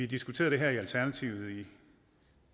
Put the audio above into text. diskuteret det her i alternativet i